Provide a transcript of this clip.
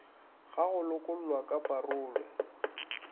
ga go lokollwa ka parole